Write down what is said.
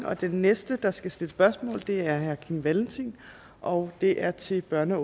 og den næste der skal stille spørgsmål er herre kim valentin og det er til børne